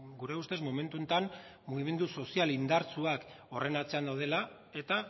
gure ustez momentu honetan mugimendu sozial indartsuak horren atzean daudela eta